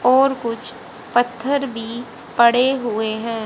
और कुछ पत्थर भी पड़े हुए हैं।